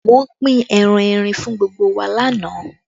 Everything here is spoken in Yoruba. Wọ́n pín ẹran erin fún gbogbo wa lánàá